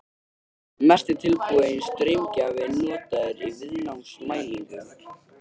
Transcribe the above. Mest er tilbúinn straumgjafi notaður í viðnámsmælingum.